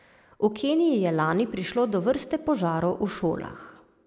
V Keniji je lani prišlo do vrste požarov v šolah.